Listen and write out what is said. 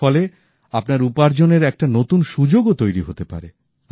এর ফলে আপনার উপার্জনের একটা নতুন সুযোগও তৈরি হতে পারে